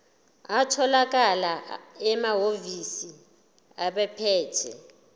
atholakala emahhovisi abaphethe